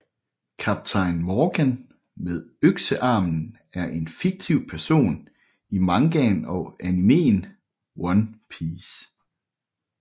Kaptajn Morgan med Øksearmen er en fiktiv person i mangaen og animeen One Piece